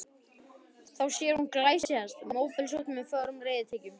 Þá sér hún glæsihest, móblesóttan með fögrum reiðtygjum.